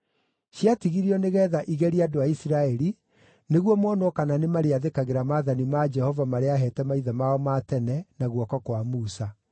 Ciatigirio nĩgeetha igerie andũ a Isiraeli, nĩguo monwo kana nĩmarĩathĩkagĩra maathani ma Jehova marĩa aaheete maithe mao ma tene na guoko kwa Musa.